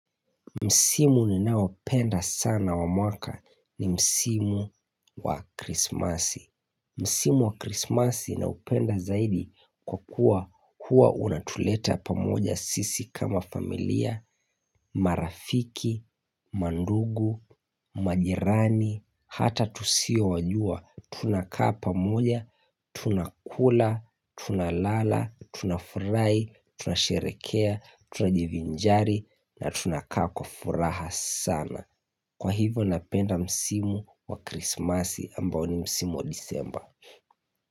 Msimu ninaopenda sana wa mwaka ni Msimu wa Krismasi. Msimu wa Krismasi naupenda zaidi kwa kuwa huwa unatuleta pamoja sisi kama familia, marafiki, mandugu, majirani, hata tusio wajua. Tunakaa pamoja, tunakula, tunalala, tunafurahi, tunasherekea, tunajivinjari na tunakaa kwa furaha sana Kwa hivyo napenda msimu wa krismasi ambao ni msimu wa disemba.